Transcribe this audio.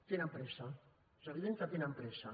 tenen pressa és evident que tenen pressa